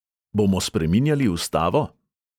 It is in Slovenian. Bomo spreminjali ustavo?